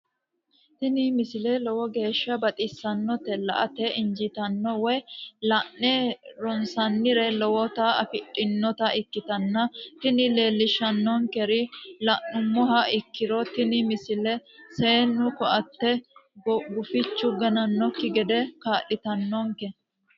tini misile lowo geeshsha baxissannote la"ate injiitanno woy la'ne ronsannire lowote afidhinota ikkitanna tini leellishshannonkeri la'nummoha ikkiro tini misile seennu ko"atteeti gufichu ganannokki gede kaa'litannonke.